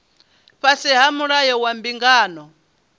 fhasi ha mulayo wa mbingano